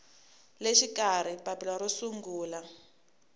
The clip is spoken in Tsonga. le xikarhi papila ro sungula